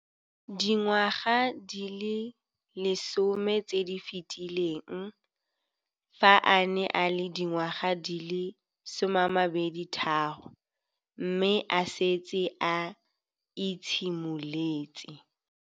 Dingwaga di le 10 tse di fetileng, fa a ne a le dingwaga di le 23 mme a setse a itshimoletse